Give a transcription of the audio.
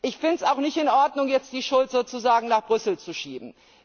Ich finde es auch nicht in Ordnung, die Schuld jetzt sozusagen nach Brüssel zu schieben.